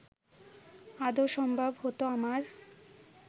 আদৌ সম্ভব হতো আমার